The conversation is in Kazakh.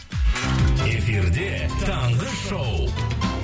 эфирде таңғы шоу